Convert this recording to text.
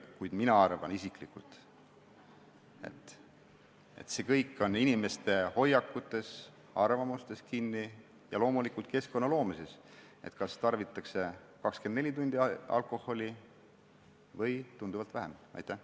Kuid mina arvan isiklikult, et see, kas alkoholi tarbitakse 24 tundi või tunduvalt vähem, on kinni inimeste hoiakutes ja arvamustes ning loomulikult keskkonnas.